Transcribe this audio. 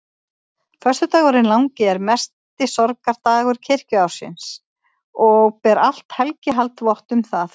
Föstudagurinn langi er mesti sorgardagur kirkjuársins og ber allt helgihald vott um það.